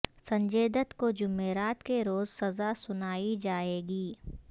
سنجے دت کوجمعرات کے روز سزا سنائی جائے گی